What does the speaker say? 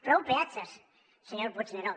prou peatges senyor puigneró